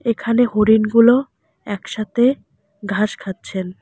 এখানে হরিণগুলো একসাথে ঘাস খাচ্ছেন।